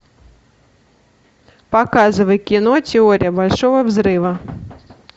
показывай кино теория большого взрыва